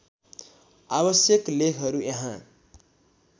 आवश्यक लेखहरू यहाँ